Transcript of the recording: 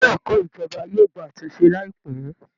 Ilé ẹ̀kọ́ ìjọba yóò gba àtúnṣe láìpẹ́